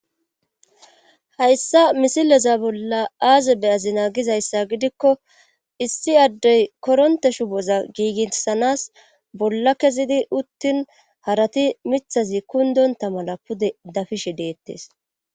hayssa misileza bolla aazebe azinaa gizayssa gidikko issi addey koronte shuboza giiginsanas bolla kezidi uttin harati mithazi kundonta mala pude dafishe deettes